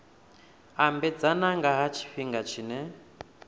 ambedzana nga ha tshifhinga tshine